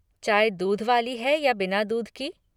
चाय दूध वाली है या बिना दूध की?